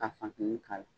Ka funtɛni k'a la